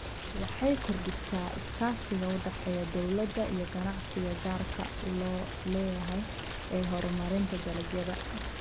Waxay kordhisaa iskaashiga u dhexeeya dawladda iyo ganacsiga gaarka loo leeyahay ee horumarinta dalagyada.